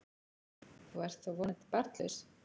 Þú ert þó vonandi barnlaus?